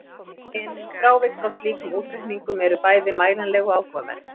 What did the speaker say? En frávik frá slíkum útreikningum eru bæði mælanleg og áhugaverð.